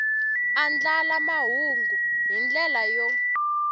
andlala mahungu hi ndlela yo